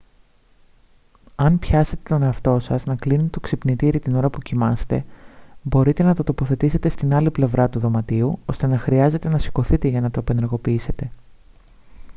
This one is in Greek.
αν πιάσετε τον εαυτό σας να κλείνει το ξυπνητήρι την ώρα που κοιμάστε μπορείτε να το τοποθετήσετε στην άλλη πλευρά του δωματίου ώστε να χρειάζεται να σηκωθείτε για να το απενεργοποιήσετε